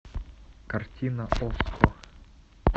картина окко